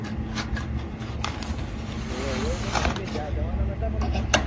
હોવે હોવે એતો તમે બે જવા ના નતા?